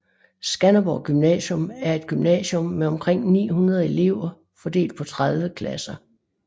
Skanderborg Gymnasium er et gymnasium med omkring 900 elever fordelt på 30 klasser